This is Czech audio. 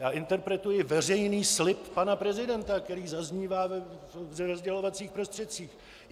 Já interpretuji veřejný slib pana prezidenta, který zaznívá ve sdělovacích prostředcích.